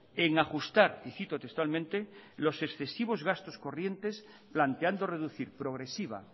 en ajustar y cito textualmente los excesivos gastos corrientes planteando reducir progresiva